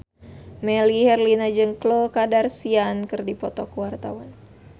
Melly Herlina jeung Khloe Kardashian keur dipoto ku wartawan